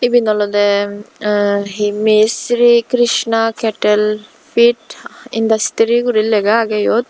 eben olode eh he misshri Krishna kettle fit industry gori lega agey iyot.